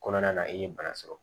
Kɔnɔna na i ye bana sɔrɔ